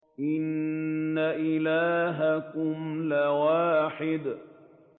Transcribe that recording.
إِنَّ إِلَٰهَكُمْ لَوَاحِدٌ